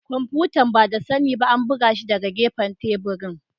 Kwamfutar, ba da sani ba an buga shi daga gefen teburin.